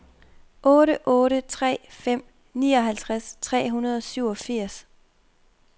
otte otte tre fem nioghalvtreds tre hundrede og syvogfirs